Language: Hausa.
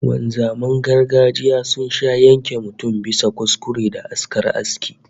Wanzaman gargajiya sun sha yanke mutum bisa kuskure da askar aski